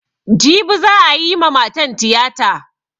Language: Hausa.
Jibi za'a yi ma matan tiyata.